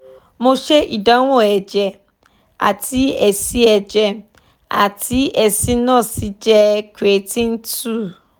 mo ṣe ìdánwò ẹ̀jẹ̀ àti èsì ẹ̀jẹ̀ àti èsì náà sì jẹ́ creatine two